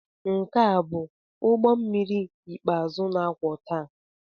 Nke a ọ bụ ụgbọ mmiri ikpeazụ na-akwọ taa?